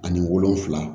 Ani wolonfila